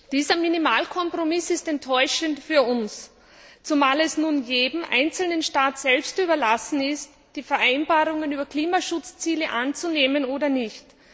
Dieser Minimalkompromiss ist enttäuschend für uns, zumal es nun jedem einzelnen Staat selbst überlassen ist, die Vereinbarungen über Klimaschutzziele anzunehmen oder nicht.